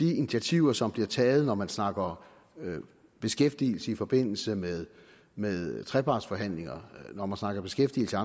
i de initiativer som bliver taget når man snakker beskæftigelse i forbindelse med med trepartsforhandlingerne og når man snakker beskæftigelse